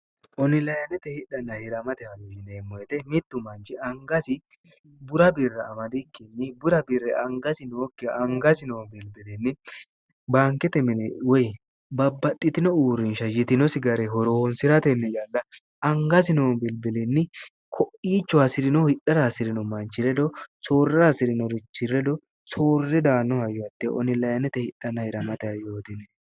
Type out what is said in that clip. onilayannete hidhanna hiramate halllineemmoyete mittu manchi ngasi bura birre amadikkinni bura birre angasi nookkiha angasi noo bilbilinni baankete mine woy babbaxxitino uurrinsha yitinosi gare horoonsi'ratenni yanna angasi noo bilibilinni ko'iicho hasi'rinoh hidhara hasi'rino manchi ledo soorrer hasi'rino richi ledo soorre daanno haywatte onilyinnete hidhanna hiramate haryootine